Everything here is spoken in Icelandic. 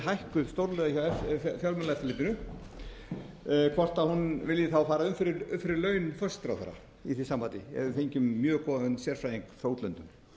hækkuð stórlega hjá fjármálaeftirlitinu hvort hún muni þá fara upp fyrir laun forsætisráðherra í því sambandi ég hef fengið mér mjög góðan sérfræðing frá útlöndum